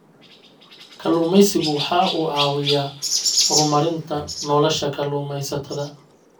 Kalluumaysigu waxa uu caawiyaa horumarinta nolosha kalluumaysatada.